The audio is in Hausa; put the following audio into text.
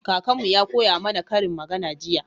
Kakanmu Ya koya mana ƙarin magana jiya